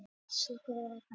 Slökkvistarf enn í gangi